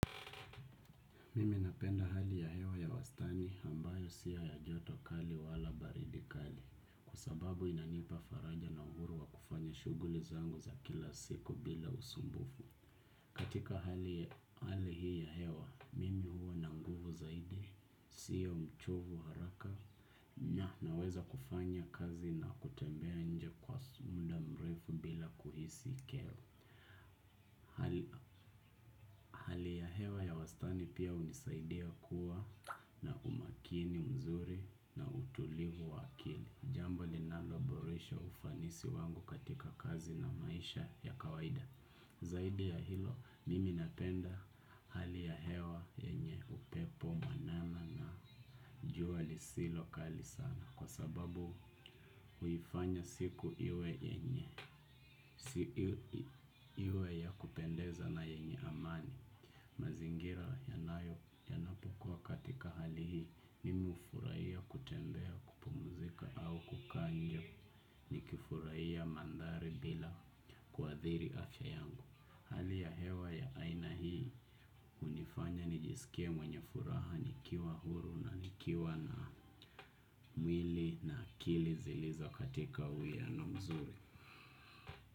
Mimi napenda hali ya hewa ya wastani ambayo siya ya jotokali wala baridikali. Kua sababu inanipa faraja na uhuru wa kufanya shuguli zangu za kila siku bila usumbufu. Katika hali hii ya hewa, mimi huo na nguvu zaidi, siyo mchovu haraka. Na weza kufanya kazi na kutembea nje kwa sumda mrefu bila kuhisi keo. Hali ya hewa ya wastani pia unisaidia kuwa na umakini mzuri na utulivu wakili. Jambo linaloboresha ufanisi wangu katika kazi na maisha ya kawaida. Zaidi ya hilo mimi napenda hali ya hewa yenye upepo mwanana na jua li si lokali sana. Kwa sababu uifanya siku iwe yenye si iwe ya kupendeza na yenye amani. Mazingira yanayo yanapokua katika hali hii mimmi ufuraiya kutembea kupumzika au kukanje ni kifuraiya mandari bila kuadhiri afya yangu. Hali ya hewa ya aina hii unifanya nijisikie mwenye furaha nikiwa huru na nikiwa na mwili na akili zilizo katika huyano mzuri.